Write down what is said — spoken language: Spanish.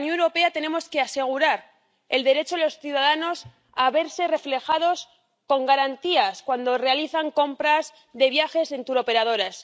Desde la Unión Europea tenemos que asegurar el derecho de los ciudadanos a verse respaldados con garantías cuando realizan compras de viajes en turoperadores.